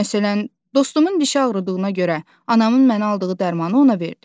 Məsələn, dostumun dişi ağrıdığına görə, anamın mənə aldığı dərmanı ona verdim.